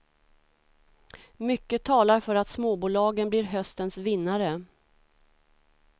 Mycket talar för att småbolagen blir höstens vinnare.